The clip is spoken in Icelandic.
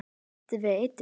Áttu við eitur.